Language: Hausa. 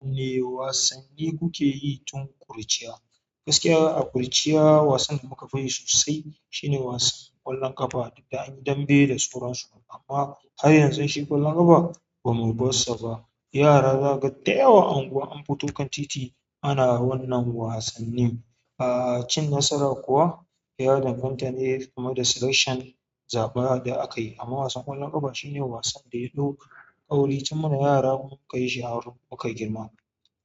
E wasanni kuke yi tun ƙuruciya? Gaskiya a ƙuruciya wasan da muka fi yi sosai shine wasan ƙwallon ƙafa. Duk da an yi dambe da sauran su, amma har yanzu shi ƙwallon ƙafa ba mu bar sa ba. Yara zagaga da yawa unguwan anfito kan titi ana wannan wasannin. A'a cin nasara kuwa ya danganta ne, kuma da selection zaɓaɗa aka yi. Amma wasan ƙwallon ƙafa shine wasan da yaɗo ƙauri tun muna yara muka yi shaharar muka girma.